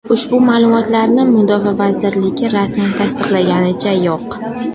Ushbu ma’lumotlarni mudofaa vazirligi rasman tasdiqlaganicha yo‘q.